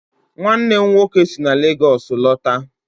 Nwannem nwoke si na Lagos lọta